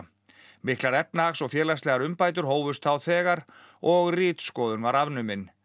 miklar efnahags og félagslegar umbætur hófust þá þegar og ritskoðun var afnumin